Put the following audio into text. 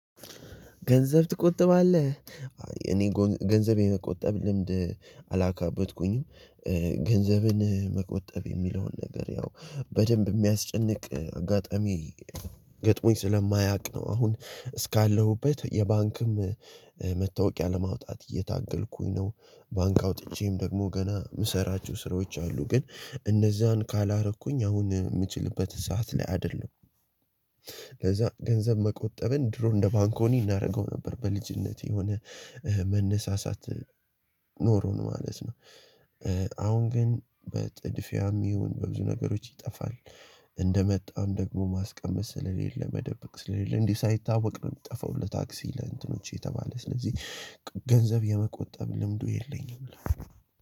ገንዘብ ትቆጥባለህ እኔ ገንዘብ የመቆጠብ ልምድ አላካበትኩኝም። ገንዘብን መቆጠብ የሚለውን ነገር ያው በደንብ የሚያስጨንቅ አጋጣሚ ገጥሞኝ ስለማያውቅ ነው አሁን እስካለሁበት የባንክም መታወቂያ ለማውጣት እየታገልኩኝ ነው ባንክ አውጥቼም ደግሞ ገና የምሰራችሁ ስራዎች አሉ ግን እነዛን ካላረኩኝ አሁን የምችልበት ሰዓት ላይ አይደለም ለዛ ገንዘብ መቆጠብን ድሮ እንደ ባንኮኒ እናደርገው ነበር በልጅነቴ የሆነ መነሳሳት ኖሮን ማለት ነው። አሁን ግን በጥድፊያም ይሁን በብዙ ነገሮች ይጠፋል እንደመጣም ደግሞ ማስቀመጥ ስለሌለ መደበቅ ስለሌለ እንዲህ ሳይታወቅ ነው የሚጠፋው ለታክሲ ለእንትኖቼ የተባለ ስለዚህ ገንዘብ የመቆጠብ ልምዱ የለኝም ነው።